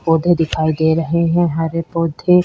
पौधे दिखाई दे रहे है हरे पौधे --